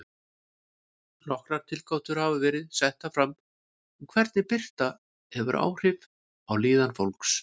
Nokkrar tilgátur hafa verið settar fram um hvernig birta hefur áhrif á líðan fólks.